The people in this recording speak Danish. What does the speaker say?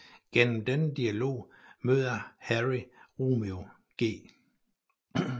Gennem denne dialog møder Harry Romeo G